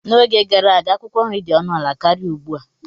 N'oge gara aga, akwụkwọ nri dị ọnụ ala karịa ugbu a.